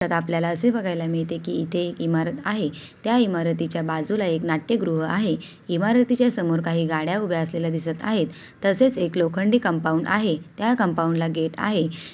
त्यात आपल्याला असे बघायला मिळते की इथे इमारत आहे. त्या इमारतीच्या बाजूला एक नाट्यगृह आहे. इमारतीच्या समोर काही गाड्या उभे असलेल्या दिसत आहेत. तसेच एक लोखंडी कंपाउंड आहे. त्या कंपाउंड ला गेट आहे.